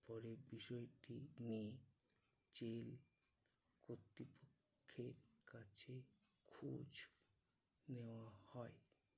বিষয়টি নিয়ে জেল কর্তৃপক্ষের কাছে খোঁজ নেওয়া হয়।